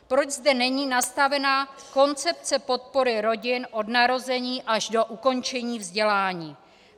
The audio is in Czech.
Proč zde není nastavena koncepce podpory rodin od narození až do ukončení vzdělání?